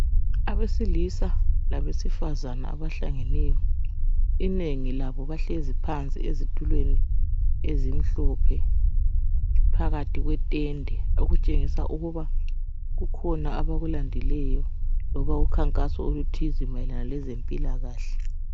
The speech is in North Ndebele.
Abesilisa labesifazana abahlangeneyo. Inengi labo bahlezi phansi, ezitulweni ezimhlophe, phakathi kwetende. Okutshengisa ukuba kukhona abakulandileyo. Loba ukhankaso oluthize, nmayelana lezempilakahle.